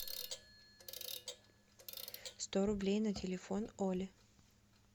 сто рублей на телефон оле